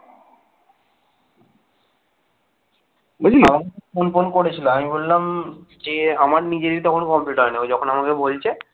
এ আমার নিজেরই তখন complete হয়নি ও যখন আমাকে বলছে